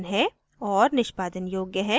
और निष्पादन योग्य है